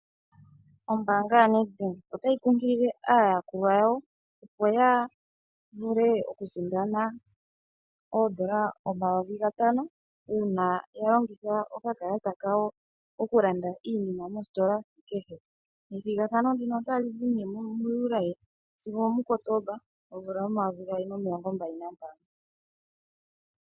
Ombaanga ya NedBank otayi kunkilile aayakulwa yawo opo ya vule okusindana oondola 5000, uuna ya longitha okakalata kawo okulanda iinima mositola kehe. Ethigathano ndino otali zi nee mu Juli sigo omuKotomba 2025.